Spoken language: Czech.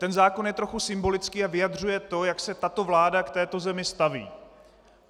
Ten zákon je trochu symbolický a vyjadřuje to, jak se tato vláda k této zemi staví.